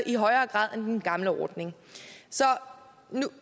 i højere grad end den gamle ordning